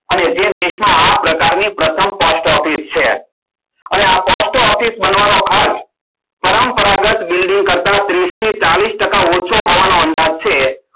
અને તે દેશમાં આ પ્રકારની પ્રથમ Post Office છે અને આ Post Office નો ખાસ પરંપરાગત building કરતા ત્રિશથી ચાલીશ ટકા કરતા ઓછો હોવાનો અંદાજ છે